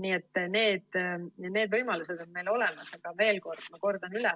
Nii et need võimalused on meil olemas, aga veel kord ma kordan üle: